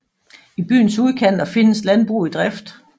I byens udkanter findes landbrug i drift